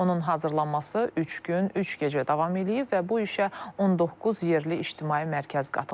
Onun hazırlanması üç gün, üç gecə davam eləyib və bu işə 19 yerli ictimai mərkəz qatılıb.